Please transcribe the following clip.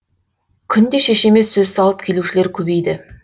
күнде шешеме сөз салып келушілер көбейді